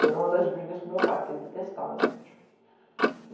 E era uma das brigas com o meu pai, porque ele detestava sítio.